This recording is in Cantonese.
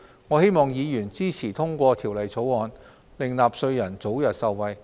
我希望議員支持通過《條例草案》，令納稅人早日受惠。